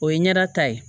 O ye ɲɛda ta ye